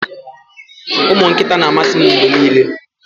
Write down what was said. ụmụ nkịta na-amasị m mgbe niile